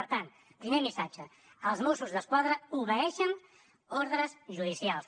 per tant primer missatge els mossos d’esquadra obeeixen ordres judicials